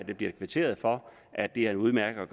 der bliver kvitteret for at det er en udmærket